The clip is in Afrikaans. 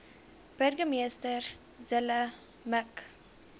burgemeester zille mik